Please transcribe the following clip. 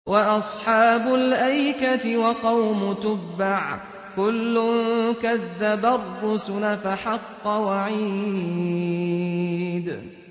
وَأَصْحَابُ الْأَيْكَةِ وَقَوْمُ تُبَّعٍ ۚ كُلٌّ كَذَّبَ الرُّسُلَ فَحَقَّ وَعِيدِ